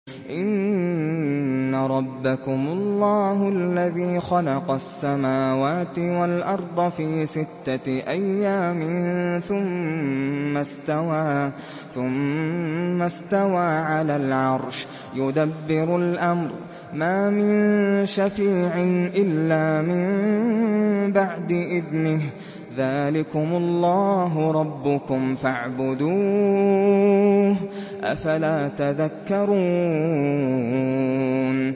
إِنَّ رَبَّكُمُ اللَّهُ الَّذِي خَلَقَ السَّمَاوَاتِ وَالْأَرْضَ فِي سِتَّةِ أَيَّامٍ ثُمَّ اسْتَوَىٰ عَلَى الْعَرْشِ ۖ يُدَبِّرُ الْأَمْرَ ۖ مَا مِن شَفِيعٍ إِلَّا مِن بَعْدِ إِذْنِهِ ۚ ذَٰلِكُمُ اللَّهُ رَبُّكُمْ فَاعْبُدُوهُ ۚ أَفَلَا تَذَكَّرُونَ